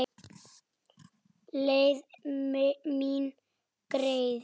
Leið mín greið.